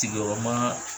Sigiyɔrɔma